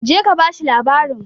jeka ka bashi labarin!